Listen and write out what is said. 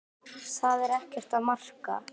Það er ekkert að marka.